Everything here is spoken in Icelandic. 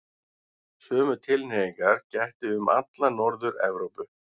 Sömu tilhneigingar gætti um alla Norður-Evrópu.